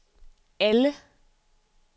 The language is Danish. alle